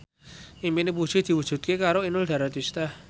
impine Puji diwujudke karo Inul Daratista